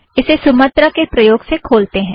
उसे सुमत्रा के प्रयोग से खोलतें हैं